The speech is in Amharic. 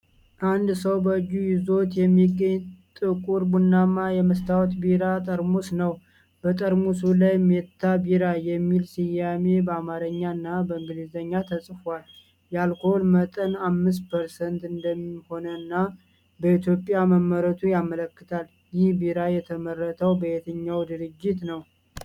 አንድ ሰው በእጁ ይዞት የሚገኝ ጥቁር ቡናማ የመስታወት ቢራ ጠርሙስ ነው። በጠርሙሱ ላይ "ሜታ ቢራ" የሚል ስያሜ በአማርኛ እና በእንግሊዝኛ ተጽፏል። የአልኮል መጠን 5% እንደሆነና በኢትዮጵያ መመረቱን ያመለክታል። ይህ ቢራ የተመረተው በየትኛው ድርጅት ነው?